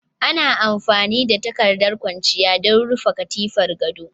Ana amfani da takardar kwanciya don rufe katifar gado